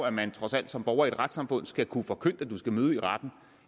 at man trods alt som borger i et retssamfund skal kunne få forkyndt at man skal møde i retten